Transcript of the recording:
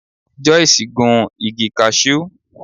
Joyce gun igi Cashew.